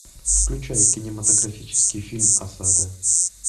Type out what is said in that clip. включай кинематографический фильм осада